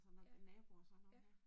Ja, ja